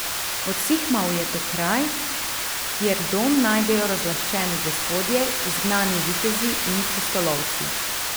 Odsihmal je to kraj, kjer dom najdejo razlaščeni gospodje, izgnani vitezi in pustolovci.